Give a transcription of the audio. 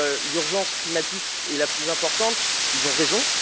l'urgence climatique est la plus importante ont raison.